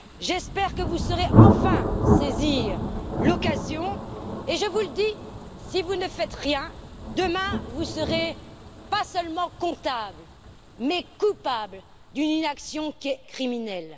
J'espère que vous saurez enfin saisir l'occasion et je vous le dis si vous ne faites rien, demain vous serez non seulement comptables, mais coupables d'une inaction criminelle.